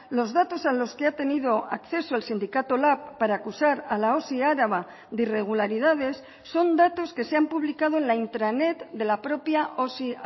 los datos a los que ha tenido acceso el sindicato lab para acusar a la osi araba de irregularidades son datos que se han publicado en la intranet de la propia osi